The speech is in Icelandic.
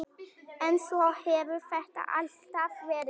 En svona hefur þetta alltaf verið.